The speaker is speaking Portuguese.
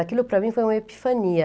Aquilo para mim foi uma epifania.